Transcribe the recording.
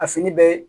A fini bɛɛ